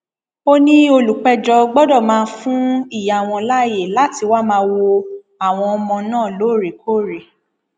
ó ní olùpẹjọ gbọdọ máa fún ìyá wọn láàyè láti wàá máa wo àwọn ọmọ náà lóòrèkóòrè